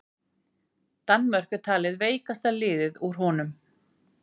Danmörk er talið veikasta liðið úr honum.